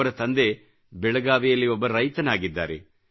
ಅವರ ತಂದೆ ಬೆಳಗಾವಿಯಲ್ಲಿ ಒಬ್ಬ ರೈತನಾಗಿದ್ದಾರೆ